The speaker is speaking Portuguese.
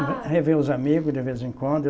Rever os amigos de vez em quando.